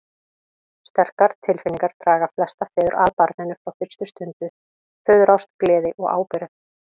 Sterkar tilfinningar draga flesta feður að barninu frá fyrstu stundu, föðurást, gleði og ábyrgð.